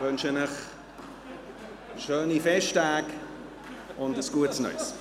» Ich wünsche Ihnen schöne Festtage und ein gutes Neues.